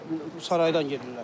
saraydan gedirlər.